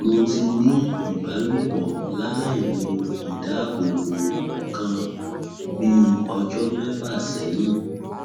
mo ti ní ìbálòpọ lailo idáàbòbo nǹkan bí ọjọ mẹfà sẹyìn